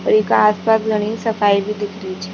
ईका आस पास घणी सफाई भी दिख री छ।